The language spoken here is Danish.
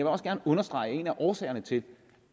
også gerne understrege at en af årsagerne til